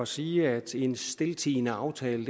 sige at en stiltiende aftale